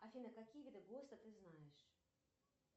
афина какие виды госта ты знаешь